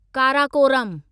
Karakoram